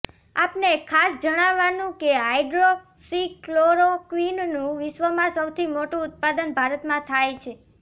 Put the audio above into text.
આપને ખાસ જણાવાનું કે હાઈડ્રોક્સીક્લોરોક્વીનનું વિશ્વમાં સૌથી મોટું ઉત્પાદન ભારતમાં થાય છે